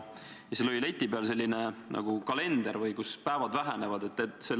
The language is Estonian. Seal oli leti peal kalender, kus oli näha päevade arv.